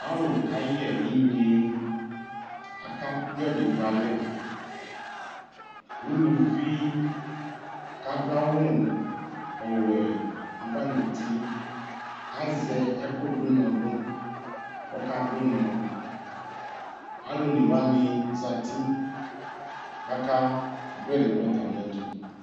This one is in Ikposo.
Alu kayɛ inyeAkadʋ ɛdi dʋ alɛUluvi kadʋ awu ɔwɛ ava nuti Azɛ ɛkʋdʋ ʋnɔdʋ, kɔkadʋnɔAlʋ onewani zati kakadʋ ɛdi dʋ atamiɛtu